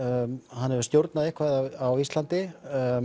hann hefur stjórnað eitthvað á Íslandi